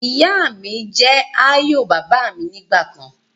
Ìyá mi jẹ́ ààyò bàbà mi ni ìgbàkan